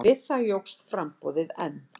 Við það jókst framboðið enn.